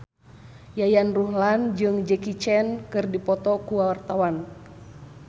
Yayan Ruhlan jeung Jackie Chan keur dipoto ku wartawan